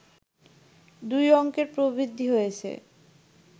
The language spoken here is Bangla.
দুই অংকের প্রবৃদ্ধি হয়েছে